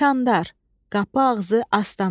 Kanddar, qapı ağzı, astana.